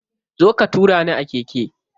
Zo ka tura ni a keke.